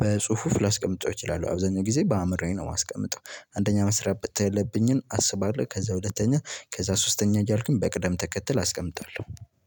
በጽሁፍ ላስቀምጠው እችላለሁ። አብዛኛው ጊዜ በአእምሮዬ ነው የማስቀምጠው። አንደኛ መስራት ያለብኝን አስባለሁ ከዛ ሁለተኛ ከዛ ሶስተኛ እያልኩኝ በቅደም ተከተል አስቀምጣለሁ።